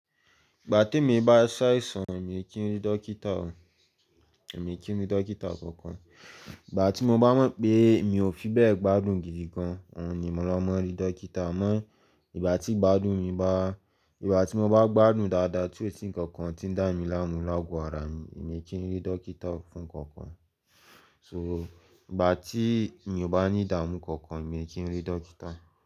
Ìgbà tí èmi bá ṣaìṣàn, mi kì ń rí dókítà o, èmi kì ń rí dókítà kankan. Ìgbà tí mo bá mọ̀ pé mi ò fi bẹ́ẹ̀ gbádùn gidi gan an, òun ni mò máa wa rí dókítà. Àmọ́ ìgbà tí gbádùn mi bá, ìgbà tí mo bá gbádùn dáadáa, ti osi nǹkan kan ti ń dá mi láàmú láàgò ara mi, èmi kì ń rí dókítà fún kankan. So ìgbà tí èèyàn bá ní ìdààmú kankan, èmi kì ń rí dókítà.